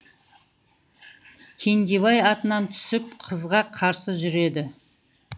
кендебай атынан түсіп қызға қарсы жүреді